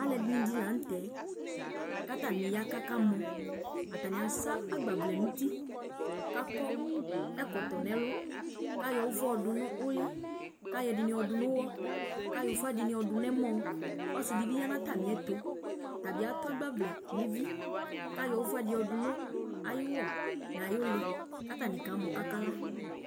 Alu ɛdini di la nu tɛ Ku atani ya ku akamɔ Atani asa agbavlɛ nu uti Ku akɔ ɛkɔtɔ nu ɛlu Ku ayɔ ufa yɔdu nu uli Ku ayɔ ɛdini du nu uwɔ Ku ayɔ ufa dini du nu ɛmɔ Ɔsi di bi ya nu atami ɛtu Ɔta bi atu agbavlɛ nu evi Ku ayɔ ufa di du nu ayu uwɔ nu ayu uli ku atani kamɔ ku akala